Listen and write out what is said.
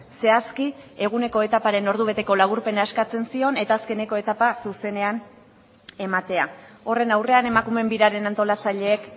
zehazki eguneko etaparen ordubeteko laburpena eskatzen zion eta azkeneko etapa zuzenean ematea horren aurrean emakumeen biraren antolatzaileek